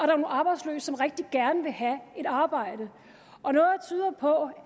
nogle arbejdsløse der rigtig gerne vil have et arbejde og noget tyder på